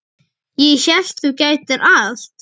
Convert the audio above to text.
Ég hélt þú gætir allt.